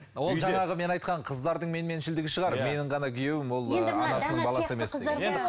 ол жаңағы мен айтқан қыздардың менменшілдігі шығар менің ғана күйеуім ол анасының баласы емес деген